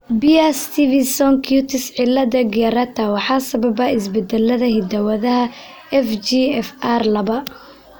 Beare Stevenson cutis cilada gyrata waxaa sababa isbeddellada hidda-wadaha FGFR labaa.